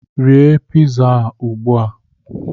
Rie piza a ugbu a